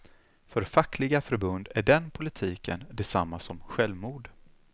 För fackliga förbund är den politiken detsamma som självmord.